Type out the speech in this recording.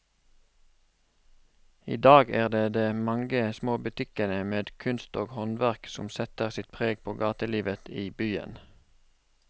I dag er det de mange små butikkene med kunst og håndverk som setter sitt preg på gatelivet i byen.